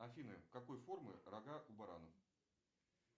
афина какой формы рога у баранов